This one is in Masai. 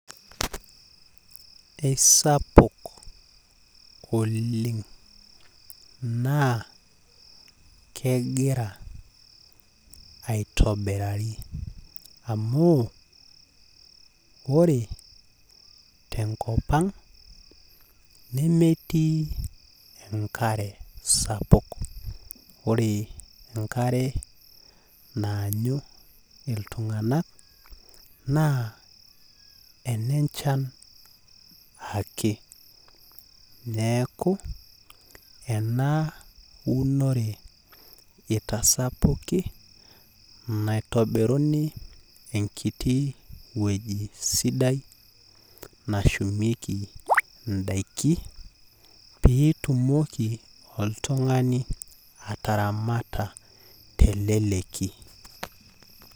Eisapuk oleng naa kegira aitobirari. Amu ore tenkop ang, nemetii enkare sapuk. Ore enkare naanyu iltung'anak, naa enenchan ake. Neeku, enaunore itasapuki naitobiruni enkiti wueji sidai, nashumieki idaiki, pitumoki oltung'ani ataramata teleleki.